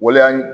Waleya